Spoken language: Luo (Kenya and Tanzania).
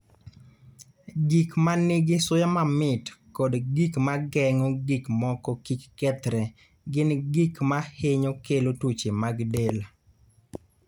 Gik ma nigi suya mamit koda gik ma geng'o gik moko kik kethre gin gik ma hinyo kelo tuoche mag del.